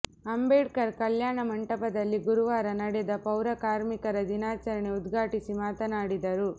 ಅಂಬೇಡ್ಕರ್ ಕಲ್ಯಾಣ ಮಂಟಪದಲ್ಲಿ ಗುರುವಾರ ನಡೆದ ಪೌರ ಕಾರ್ಮಿಕರ ದಿನಾಚರಣೆ ಉದ್ಘಾಟಿಸಿ ಮಾತನಾಡಿದರು